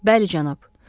Bəli, cənab.